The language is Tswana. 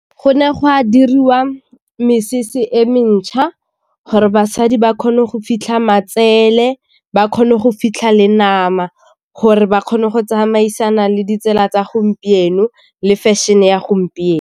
Go ne go a diriwa mesese e mentšha gore basadi ba kgone go fitlha matsele, ba kgone go fitlha le nama gore ba kgone go tsamaisana le ditsela tsa gompieno le fashion-e ya gompieno.